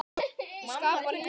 Það skapar lífinu léttan tón.